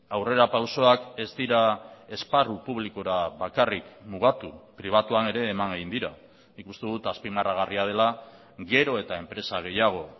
aurrerapausoak ez dira esparru publikora bakarrik mugatu pribatuan ere eman egin dira nik uste dut azpimarragarria dela gero eta enpresa gehiago